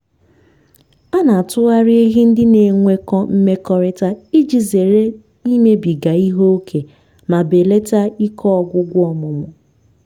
a na-atụgharị ehi ndị na-enwekọ mmekọrịta iji zere imebiga ihe ókè ma belata ike ọgwụgwụ ọmụmụ.